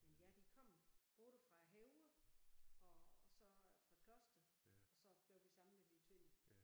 Men ja de kom både fra Højer og også fra Kloster og så blev vi samlet i Tønder